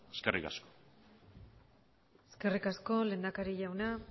eskerrik asko eskerrik asko lehendakari jauna